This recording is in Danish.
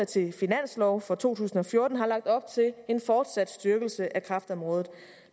til finanslov for to tusind og fjorten har lagt op til en fortsat styrkelse af kræftområdet